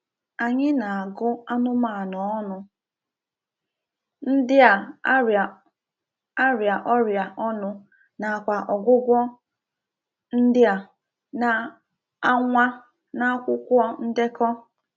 Anyị na-agu anụmanụ onu ndị a-arịa a-arịa ọrịa onu na kwa ọgwụgwọ ndị a na-anwa n'akwụkwọ ndekọ."